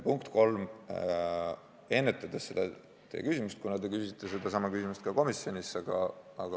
Punkt kolm, ennetades teie küsimust, kuna te küsisite sama ka komisjonis.